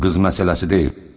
Bu qız məsələsi deyil.